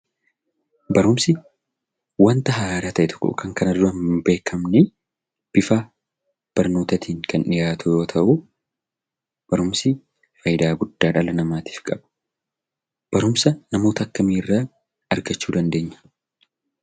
Barumsi wanta haaraa ta'e tokko Kan kana dura hn beekamne bifa barnootaatin Kan dhiyaatu yoo ta'u, barumsi faayidaa guddaa dhala namaattif qaba. Barumsa namoota akkami irraa argachuu dandeenyaa?